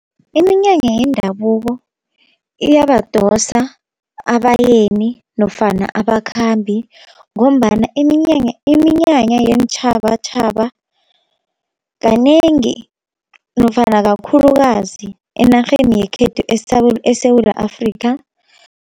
Iminyanya yendabuko iyabadosa abayeni nofana abakhambi, ngombana iminyanya, iminyanya yeentjhabatjhaba kanengi nofana kakhulukazi enarheni yekhethu eSewula Afrika.